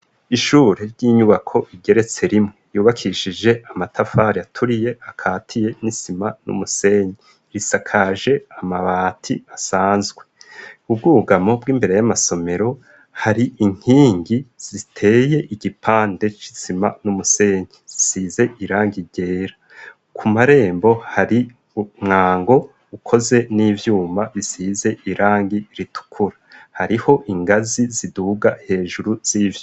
Ishure ry'inyubako igeretse rimwe yubakishije amatafari aturiye akatiye n'isima n'umusenyi, risakaje amabati asanzwe, ubwugamo bw'imbere y'amasomero hari inkingi ziteye igipande c'isima n'umusenyi zisize irangi ryera, ku marembo hari umwango ukoze n'ivyuma bisize irangi ritukura, hariho ingazi ziduga hejuru z'ivyo.